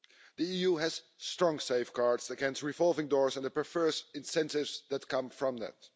The EU has strong safeguards against revolving doors and the perverse incentives that come from that.